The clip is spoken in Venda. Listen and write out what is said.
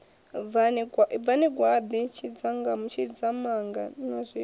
bvani gwaḓi tshidzamanga na zwiṋwe